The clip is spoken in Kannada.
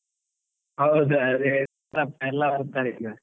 ಹೌದು ಅದೇ, ಎಲ್ಲ ಬರ್ತಾರೆ ಈಗ.